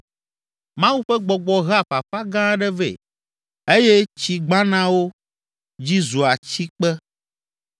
Mawu ƒe gbɔgbɔ hea fafa gã aɖe vɛ eye tsi gbanawo dzi zua tsikpe.